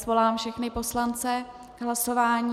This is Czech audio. Svolám všechny poslance k hlasování.